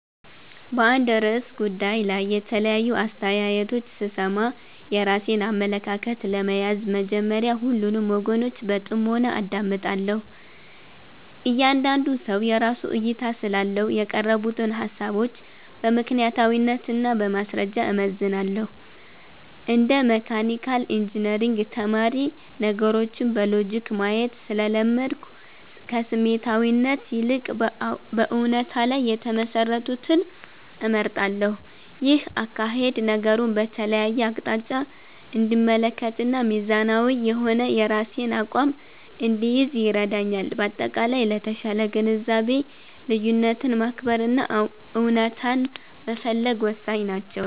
በአንድ ርዕሰ ጉዳይ ላይ የተለያዩ አስተያየቶች ስሰማ፣ የራሴን አመለካከት ለመያዝ መጀመሪያ ሁሉንም ወገኖች በጥሞና አዳምጣለሁ። እያንዳንዱ ሰው የራሱ እይታ ስላለው፣ የቀረቡትን ሃሳቦች በምክንያታዊነት እና በማስረጃ እመዝናለሁ። እንደ መካኒካል ኢንጂነሪንግ ተማሪ፣ ነገሮችን በሎጂክ ማየት ስለለመድኩ፣ ከስሜታዊነት ይልቅ በእውነታ ላይ የተመሰረቱትን እመርጣለሁ። ይህ አካሄድ ነገሩን በተለያየ አቅጣጫ እንድመለከትና ሚዛናዊ የሆነ የራሴን አቋም እንድይዝ ይረዳኛል። በአጠቃላይ፣ ለተሻለ ግንዛቤ ልዩነትን ማክበር እና እውነታን መፈለግ ወሳኝ ናቸው።